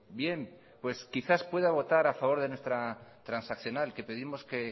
bien pues quizá pueda votar a favor de nuestra transaccional que pedimos que